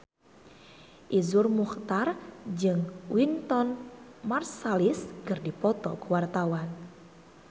Iszur Muchtar jeung Wynton Marsalis keur dipoto ku wartawan